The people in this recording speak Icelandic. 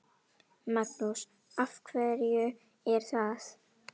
Magnús: Af hverju er það?